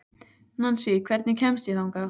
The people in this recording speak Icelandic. Nansý, hvernig kemst ég þangað?